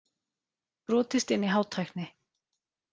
Brotist inn í Hátækni